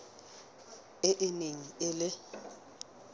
e e neng e le